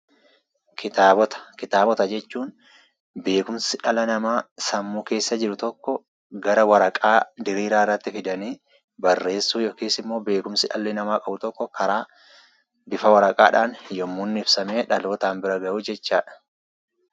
Kitaabota, kitaabota jechuun beekumsi dhala namaa sammuu keessa jiru tokko gara waraqaa diriiraarratti fidanii barreessuu yookisimmoo beekumsi dhalli namaa qabu tokko karaa bifa waraqaadhaan yommuu inni ibsamee dhalootaan bira gahudha jechuudha.